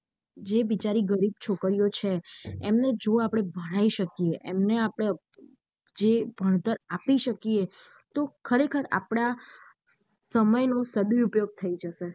જે બિચારી ગરીબ ચોરિયો છે એમને જો આપળે ભણાઈ શકીયે એમને આપણે જે ભણતર આપી શકીયે તો ખરે ખાર આપડા સમય નો સદુપયોગ થઇ જશે.